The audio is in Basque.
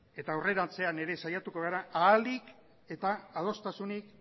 eta aurrerantzean ere saiatuko gara ahalik eta adostasunik